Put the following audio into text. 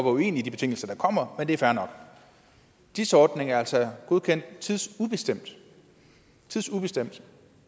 uenig i de betingelser der kommer men det er fair nok dis ordningen er altså godkendt tidsubestemt tidsubestemt